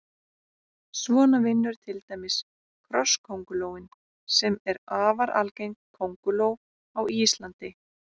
Svona vinnur til dæmis krosskóngulóin sem er afar algeng kónguló á Íslandi.